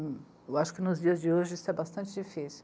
Eu acho que nos dias de hoje isso é bastante difícil.